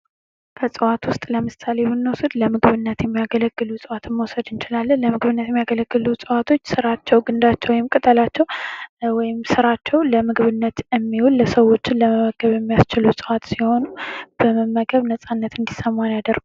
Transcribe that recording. ከዕፅዋት ውስጥ ለምሳሌ ብንወስድ ለምግብነት የሚያገለግሉ ዕጽዋትን መውሰድ እንችላለን ለምግብነት ከሚያገለግሉ እጽዋቶች ስራቸው ግንዳቸው ወይም ቅጠላቸው ወይም ስራዎች ለምግብነት የሚውል ሰዎችን ለመመገብ የሚያስችሉ ዕፅዋት ሲሆኑ በመመገብ ነጻነት እንዲሰማን ያደርጉናል።